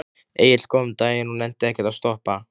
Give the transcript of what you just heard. Egill kom um daginn og nennti ekkert að stoppa.